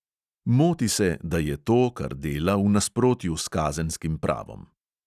Moti se, da je to, kar dela, v nasprotju s kazenskim pravom.